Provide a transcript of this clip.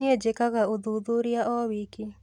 Nĩi njikaga ũthuthuria o wiki.